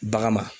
Bagan ma